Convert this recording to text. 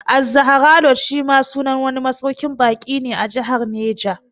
Az-Zahra Lodge shi ma sunan wani masauƙin baƙi ne a Jahar Neja